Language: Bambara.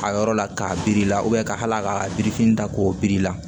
A yɔrɔ la k'a biri i la ka hali a ka a birifin da k'o biri i la